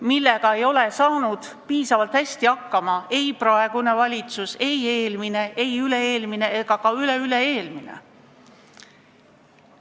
Sellega ei ole piisavalt hästi hakkama saanud ei praegune valitsus, ei eelmine, üle-eelmine ega ka üleüle-eelmine valitsus.